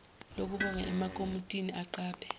lokubonga emakomitini aqaphe